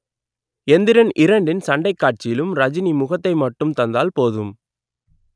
எந்திரன் இரண்டின் சண்டைக் காட்சியிலும் ரஜினி முகத்தை மட்டும் தந்தால் போதும்